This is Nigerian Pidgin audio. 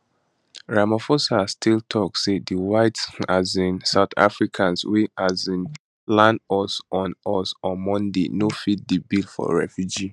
ramaphosa still tok say di white um south africans wey um land us on us on monday no fit di bill for refugee